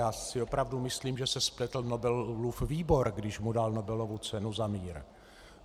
Já si opravdu myslím, že se spletl Nobelův výbor, když mu dal Nobelovu cenu za mír.